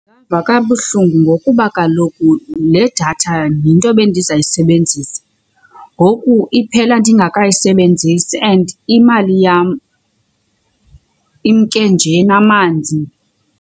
Ndingava kabuhlungu ngokuba kaloku le datha yinto bendizayisebenzisa. Ngoku iphela ndingakayisebenzisi and imali yam imke nje namanzi.